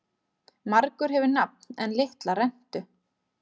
Margur hefur nafn en litla rentu.